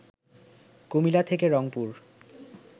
কুমিল্লা থেকে রংপুর